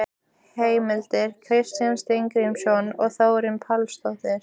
Heimild: Kristjana Steingrímsdóttir og Þórunn Pálsdóttir.